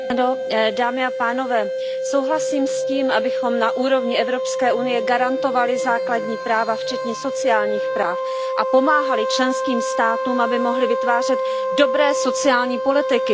Souhlasím s tím, abychom na úrovni Evropské unie garantovali základní práva, včetně sociálních práv, a pomáhali členským státům, aby mohly vytvářet dobré sociální politiky, snižovat nezaměstnanost.